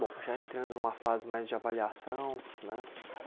Bom, já entrando numa fase mais de avaliação, né?